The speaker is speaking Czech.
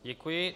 Děkuji.